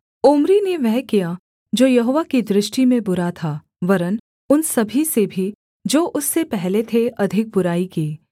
Omri ने वह किया जो यहोवा की दृष्टि में बुरा था वरन् उन सभी से भी जो उससे पहले थे अधिक बुराई की